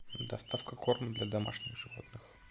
доставка корма для домашних животных